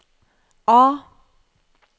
A